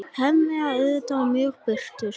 Hemmi er auðheyrilega mjög bitur.